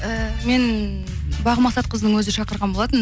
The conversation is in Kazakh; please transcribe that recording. ііі мен бағым мақсатқызының өзі шақырған болатын